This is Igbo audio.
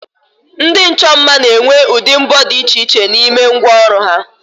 Ndi ocho mma n'enwe udi mbo di iche iche n'ime ngwa oru ha